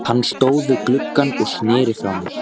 Hann stóð við gluggann og sneri frá mér.